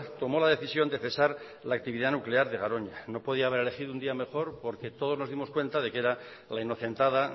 tomó la decisión de cesar la actividad nuclear de garoña no podía haber elegido un día mejor porque todos nos dimos cuenta de que era la inocentada